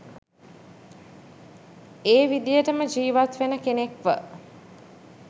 ඒ විදියටම ජීවත් වෙන කෙනෙක්ව.